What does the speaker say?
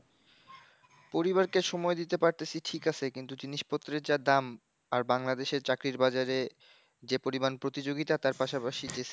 পরিবারকে সময় দিতে পারতেছি ঠিক আছে কিন্তু জিনিস পত্রের যা দাম, আর বাংলাদেশের চাকরির বাজারে যে পরিমান প্রতিযোগিতা তার পাশাপাশি যে,